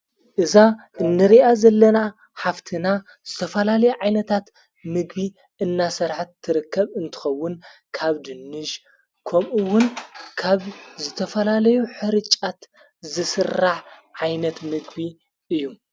እዛ እንርኣ ዘለና ሓፍትና ዝተፈላለ ዓይነታት ምግቢ እናሠርሐት ትረከብ እንትኸውን ካብ ድንሽ ከምኡውን ካብ ዝተፈላለዩ ኅርጫት ዘሥራሕ ዓይነት ምግቢ እዩ።